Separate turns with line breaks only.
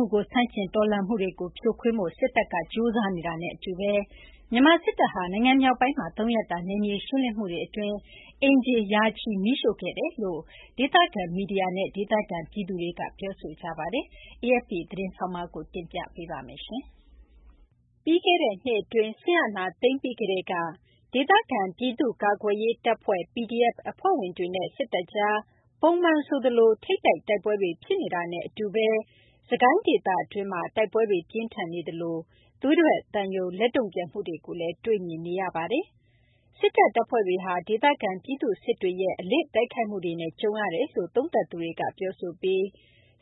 ှုကို ဆန့်ကျင် တော်လှန်မှုတွေကို ဖြိုခွင်းနိုင်ဖို့ စစ်တပ်က ကြိုးစားနေတာနဲ့ အတူဘဲ မြန်မာ စစ်တပ်ဟာ နိုင်ငံမြောက်ပိုင်းမှာ ၃ ရက်တာ နယ်မြေ ရှင်းလင်းမှုတွေ အတွင်း အိမ်ခြေ ရာချီ မီးရှို့ခဲ့တယ်လို့ ဒေသခံ မီဒီယာနဲ့ ဒေသခံပြည်သူတွေက ပြောဆိုကြပါတယ်။ AFP သတင်းဆောင်းပါးကို မသိင်္ဂ ီထိုက် ပြောပြပေးမှာပါ။ ပြီးခဲ့တဲ့ နှစ် အတွင်း စစ်အာဏာသိမ်းပြီးကတည်းက ဒေသခံ ပြည်သူ့ ကာကွယ်ရေး တပ်ဖွဲ့ PDF အဖွဲ့ဝင်တွေနဲ့ စစ်တပ်ကြား ပုံမှန် ဆိုသလို ထိပ်တိုက် တိုက်ပွဲတွေ ဖြစ်နေတာနဲ့ အတူဘဲ စစ်ကိုင်း ဒေသတွင်းမှာ တိုက်ပွဲတွေ ပြင်းထန်နေသလို သွေးထွက်သံယို လက်တုံ့ပြန်မှုတွေလည်း တွေ့မြင်နေရပါတယ်။ စစ်တပ် တပ်ဖွဲ့တွေဟာ ဒေသခံ ပြည်သူ့စစ်တွေရဲ့ အလစ် တိုက်ခိုက်မှုတွေနဲ့ ကြုံနေရတယ်လို့လည်း သုံးသပ်သူတွေက ပြောဆိုပြီး